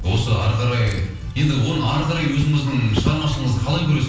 осы ары қарай енді оны ары қарай өзіңіздің шығармашылығыңызды қалай көресіз